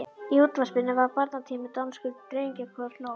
Í útvarpinu var barnatími: danskur drengjakór hló.